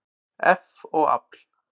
eff og afl.